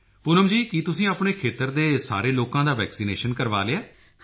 ਪੂਨਮ ਜੀ ਕੀ ਤੁਸੀਂ ਆਪਣੇ ਖੇਤਰ ਦੇ ਸਾਰੇ ਲੋਕਾਂ ਦਾ ਵੈਕਸੀਨੇਸ਼ਨ ਕਰਵਾ ਲਿਆ ਹੈ